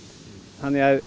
þannig að